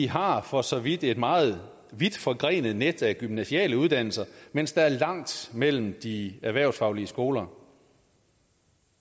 har for så vidt et meget vidtforgrenet net af gymnasiale uddannelser mens der er langt mellem de erhvervsfaglige skoler